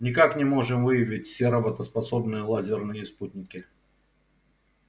никак не можем выявить все работоспособные лазерные спутники